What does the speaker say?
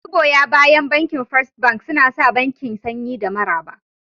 Magoya bayan Bankin First Bank suna sa bankin sanyi da maraba